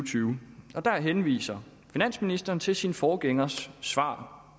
tyve og der henviser finansministeren til sin forgængers svar